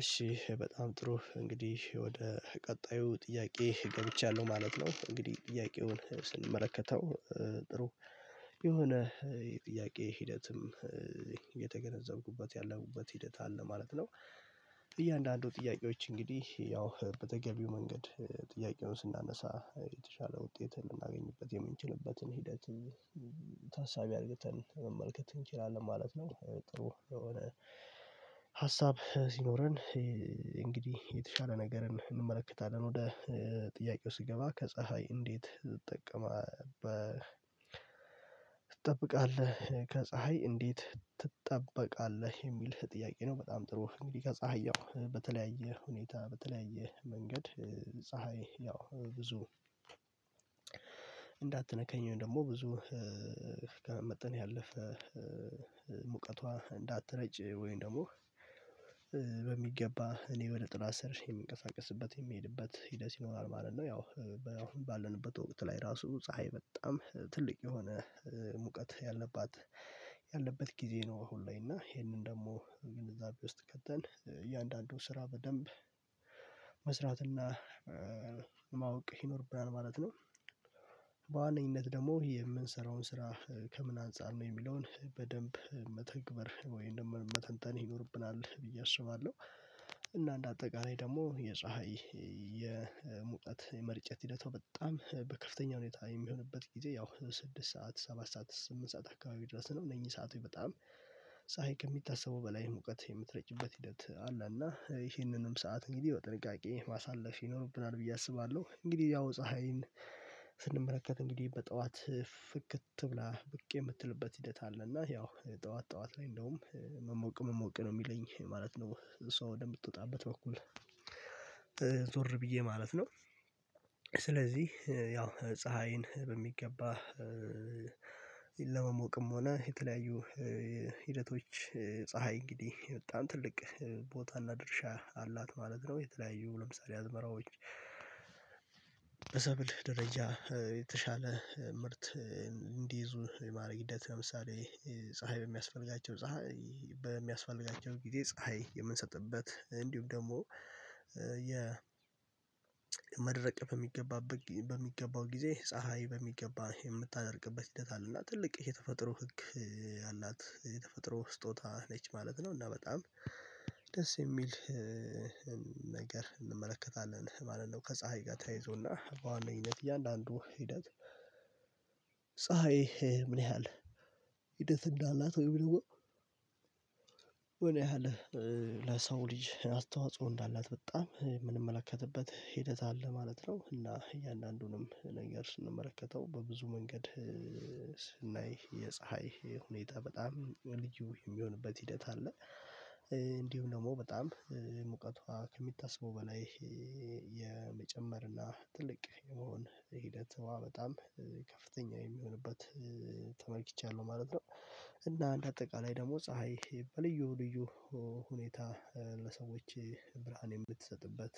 እሺ በጣም ጥሩ እንግዲህ ወደ ቀጣዩ ጥያቄ ገብቻለሁ ማለት ነው እንግዲህ ጥያቄውን ስንመለከተው ጥሩ የሆነ የጥያቄ ሂደትም ያለምኩበት ሂደት አለ ማለት ነው። እያንዳንዱ ጥያቄዎች እንግዲህ ያው በተገቢው መንገድ ጥያቄውን ስናነሳ የተሻለ ውጤት ልናገኝበት የምንችልበትን ሂደት ታሳቢ አርግተን መመልከት እንችላለን ማለት ነው። ጥሩ የሆነ ሀሳብ ሲኖረን እንግዲህ የተሻለ ነገርን እንመለከታለን። ወደ ጥያቄው ስገባ ከፀሀይ እንዴት ትጠቀማበ ትጠብቃለህ ከፀሀይ እንዴት ትጠበቃለህ የሚል ጥያቄ ነው? በጣም ጥሩ እንግዲህ ከፀሀይ ያው በተለያየ ሁኔታ በተለያየ መንገድ ፀሀይ ያው ብዙ እንዳትነካኝ ወይም ደግሞ ብዙ ከመጠን ያለፈ ሙቀቷ እንዳትረጭ ወይን ደግሞ በሚገባ እኔ ወደ ጥላ ስር የምንቀሳቀስበት የምሄድበት ሂደት ይኖራል ማለት ነው። ያው አሁን ባለንበት ወቅት ላይ ራሱ ፀሀይ በጣም ትልቅ የሆነ ሙቀት ያለባት ያለበት ጊዜ ነው። አሁን ለይ እና ይሄንን ደግሞ ግንዛቤ ውስጥ ከተን እያንዳንዱን ስራ በደንብ መስራት እና ማወቅ ይኖርብናል ማለት ነው። በዋነኝነት ደግሞ የምንሰራውን ስራ ከምን አንፃር ነው የሚለውን በደንብ መተግበር ወይም መተንተን ይኖርብናል ብዬ አሽማለሁ። እና እንደ አጠቃላይ ደግሞ የፀሀይ የሙቀት የመርጨት ሂደቷ በጣም በከፍተኛ ሁኔታ የሚሆንበት ጊዜ ያው ስድስት ሰዓት ሰባት ሰዓት ስምንት ሰዓት አካባቢ ድረስ ነው። እነዚህ ሰዓት በጣም ፀሀይ ከሚታሰበው በላይ ሙቀት የምትረጭበት ሂደት አለ እና ይሄንንም ሰዓት እንግዲህ በጥንቃቄ ማሳለፍ ይኖርብናል ብዬ አስባለሁ። እንግዲህ ያው ፀሀይን ስንመለከት እንግዲህ በጠዋት ፍክት ብላ ብቅ የምትልበት ሂደት አለ እና ያው ጠዋት ጠዋት ላይ እንደውም መሞቅ መሞቅ ነው የሚለኝ ማለት ነው። ሰው ወደምትወጣበት በኩል ዞር ብዬ ማለት ነው። ስለዚህ ያው ፀሀይን በሚገባ ለመሞቅም ሆነ የተለያዩ ሂደቶች ፀሀይ እንግዲህ በጣም ትልቅ ቦታና ድርሻ አላት ማለት ነው። የተለያዩ ለምሳሌ አዝመራዎች በሰብል ደረጃ የተሻለ ምርት እንዲይዙ የማድረግ ሂደት ለምሳሌ ፀሀይ በሚያስፈልጋቸው ፀሀይ በሚያስፈልጋቸው ጊዜ ፀሀይ የምንሰጥበት እንዲሁም ደግሞ የመድረቅ በሚገባበት በሚገባው ጊዜ ፀሀይ በሚገባ የምታደርግበት ሂደት አለ። እና ትልቅ የተፈጥሮ ህግ አላት የተፈጥሮ ስጦታ ነች ማለት ነው። እና በጣም ደስ የሚል ነገር እንመለከታለን ማለት ነው። ከፀሀይ ጋር ተይዞና በዋነኝነት እያንዳንዱ ሂደት ፀሀይ ምን ያህል ሂደት እንዳላት ወይም ደግሞ ምን ያህል ለሰው ልጅ አስተዋጽኦ እንዳላት በጣም የምንመለከትበት ሂደት አለ ማለት ነው። እና እያንዳንዱንም ነገር ስንመለከተው በብዙ መንገድ ስናይ የፀሀይ ሁኔታ በጣም ወርልድ ክኤ የሚሆንበት ሂደት አለ። እንዲሁም ደግሞ በጣም ሙቀቷ ከሚታሰቡ በላይ ይሄ የመጨመር እና ትልቅ የሆነ ሂደት በጣም ከፍተኛ የሚሆንበት ተመልክቻለሁ ማለት ነው። እና እንደ አጠቃላይ ደግሞ ፀሀይ በልዩ ልዩ ሁኔታ ለሰዎች ብርሃን የምትሰጥበት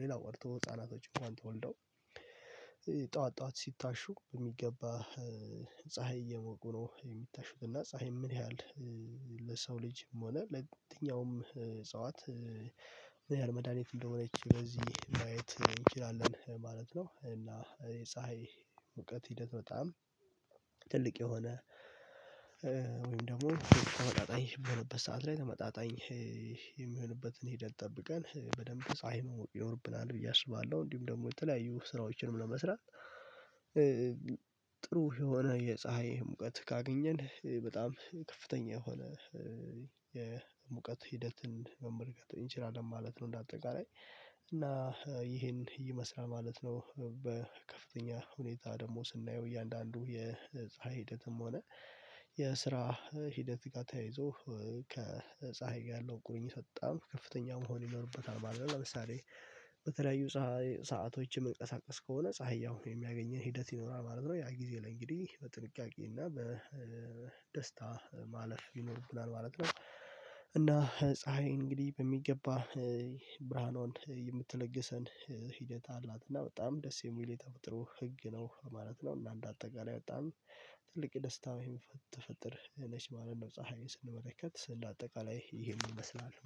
ሌላው ቀርቶ ህፃናቶች እንኳን ተወልደው ጠዋት ጠዋት ሲታሹ በሚገባ ፀሀይ እየሞቁ ነው የሚታሹት እና ፀሀይ ምን ያህል ለሰው ልጅም ሆነ ለደኛውም እጽዋት ምን ያህል መድሃኒት እንደሆነ ይችላል በዚህ ማየት እንችላለን ማለት ነው። እና የፀሀይ እውቀት ሂደት በጣም ትልቅ የሆነ ወይም ደግሞ ተመጣጣኝ የሆነበት ሰዓት ላይ ተመጣጣኝ የሚሆንበትን ሂድት ጠብቀን በደንብ ፀሀይ መሞቅ ይኖርብናል ብዬ አስባለሁ። እንዲሁም ደግሞ የተለያዩ ስራዎችንም ለመስራት ጥሩ የሆነ የፀሀይ ሙቀት ካገኘን በጣም ከፍተኛ የሆነ የሙቀት ሂደትን መመልከት እንችላለን ማለት ነው። እንደ አጠቃላይ እና ይሄን ይመስላል ማለት ነው። በከፍተኛ ሁኔታ ደግሞ ስናየው እያንዳንዱ የፀሀይ ሂደትም ሆነ የስራ ሂደት ጋር ተያይዞ ከፀሀይ ጋር ያለው ቁርኝ ቀጣም ከፍተኛ መሆን ይኖርበታል አይደል? ለምሳሌ በተለያዩ ፀሀይ ሰአቶችን የምንቀሳቀስ ከሆነ ፀሀያው የሚያገኘን ሂደት ይኖራል ማለት ነው ያ ጊዜ ላይ እንግዲህ በጥንቃቄ እና በደስታ ማለፍ ይኖርብናል ማለት ነው። እና ፀሀይ እንግዲህ በሚገባ ብርሃኑን የምትለግሰን ሂደት አላት። እና በጣም ደስ የሚል የተቆጠረው ህግ ነው ማለት ነው። እና እንደ አጠቃላይ በጣም ትልቅ ደስታ ወይም ተፈጠር ነች ማለት ነው። ፀሀይን ስንመለከት ስንድ አጠቃላይ ይሄን ይመስላል